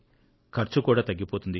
ఖర్చు కూడా తగ్గిపోతుంది